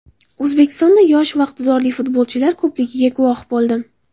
O‘zbekistonda yosh va iqtidorli futbolchilar ko‘pligiga guvoh bo‘ldim.